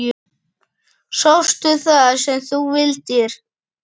Sástu það sem þú vildir?